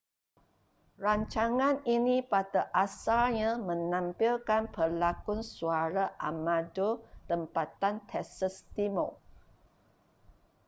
rancangan ini pada asalnya menampilkan pelakon suara amatur tempatan texas timur